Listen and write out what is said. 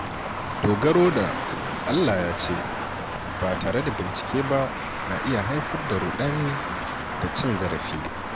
Dogaro da “Allah ya ce” ba tare da bincike ba na iya haifar da ruɗani da cin zarafi.